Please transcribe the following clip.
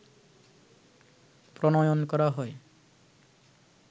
প্রণয়ন করা হয়